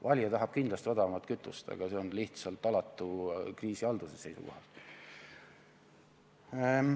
Valija tahab kindlasti odavamat kütust, aga see on kriisihalduse seisukohalt lihtsalt häbematu.